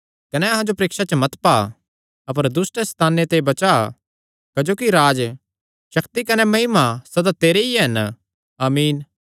कने अहां जो परीक्षा च मत पा अपर दुष्ट सैताने ते बचा क्जोकि राज्ज शक्ति कने महिमा सदा तेरे ई हन आमीन